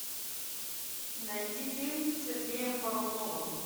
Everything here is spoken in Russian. найти фильм с сергеем буруновым